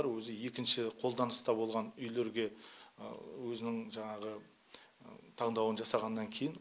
жасыратыны жоқ көп адамдар өзі екінші қолданыста болған үйлерге өзінің жаңағы таңдауын жасағаннан кейін